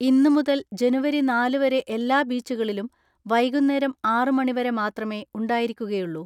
ഇന്ന് മുതൽ ജനുവരി നാല് വരെ എല്ലാ ബീച്ചുകളിലും വൈകുന്നേരം ആറ് മണി വരെ മാത്രമേ ഉണ്ടായിരിക്കുകയുള്ളൂ.